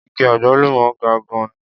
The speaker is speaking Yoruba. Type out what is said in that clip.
Igi àgbálùmọ́ ga gan-an.